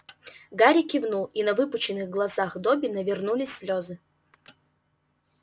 гарри кивнул и на выпученных глазах добби навернулись слёзы